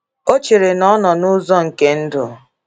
O chere na ọ nọ n’ụzọ nke ndụ.